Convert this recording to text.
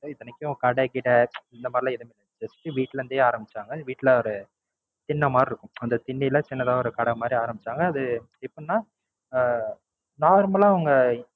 இத்தனைக்கும் கடை கிடை இந்த மாதிரி எல்லாம் எதுமே பண்ணாம Just வீட்ல இருந்தே ஆரம்பிச்சாங்க. அது வீட்ல ஒரு திண்ணை மாதிரி இருக்கும் அந்த திண்ணைல சின்னதா ஒரு கடை மாதிரி ஆரம்பிச்சாங்க அது எப்படின்னா உம் Normal ஆ அவுங்க